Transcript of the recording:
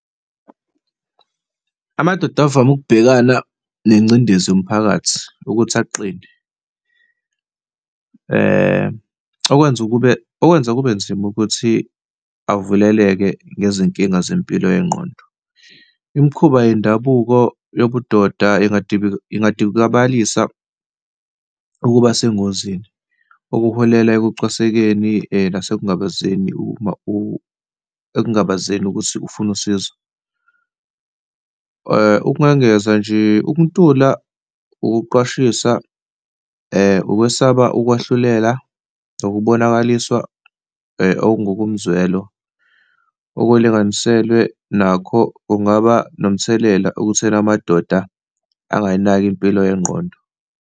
Amadoda avame ukubhekana nengcindezi yomphakathi ukuthi aqine, okwenza kube, okwenza kube nzima ukuthi avuleleke ngezinkinga zempilo yengqondo. Imikhuba yendabuko yobudoda ingadikibalisa ukuba sengozini, okuholela ekucwasekeni nasekungabazeni, ekungabazeni ukuthi ukufuna usizo. Ukungangeza nje, ukuntula, ukuqwashisa, ukwesaba ukwahluleka, ukubonakaliswa okungokomzwelo okulinganiselwe nakho kungaba nomthelela okutheni amadoda angayinaki impilo yengqondo.